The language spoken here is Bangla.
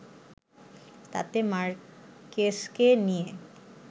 তাতে মার্কেসকে নিয়ে